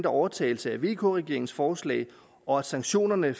overtagelse af vk regeringens forslag og sanktionerne